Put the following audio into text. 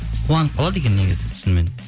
қуанып қалады екен негізі шынымен